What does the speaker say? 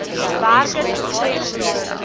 werkers gestremd raak